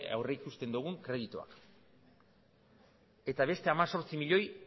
aurrikusten dugun kredituak eta beste hemezortzi milioi